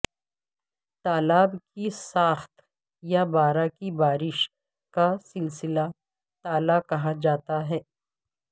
تالاب کی ساخت یا بارہ کی بارش کا سلسلہ تالا کہا جاتا ہے